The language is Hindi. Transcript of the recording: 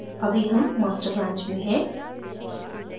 अभी हम master branch में हैं